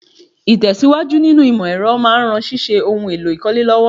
Ìtẹ̀síwájú nínú ìmọ̀ ẹ̀rọ máa ran ṣíṣe ohun èlò ìkọ́lé lọ́wọ́